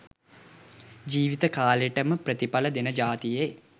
ජීව්ත කාලෙටම ප්‍රතිඵල දෙන ජාතියෙ